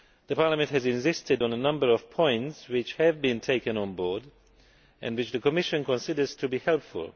Parliament has insisted on a number of points which have been taken on board and which the Commission considers to be helpful.